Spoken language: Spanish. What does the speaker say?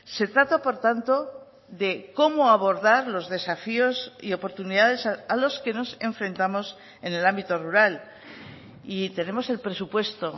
se trata por tanto de cómo abordar los desafíos y oportunidades a los que nos enfrentamos en el ámbito rural y tenemos el presupuesto